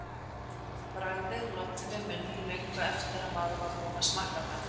Bragðið loddi við munninn löngu eftir að maður var búinn að taka það.